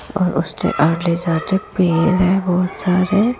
और उसके आमने सामने पेड़ है बहुत सारे।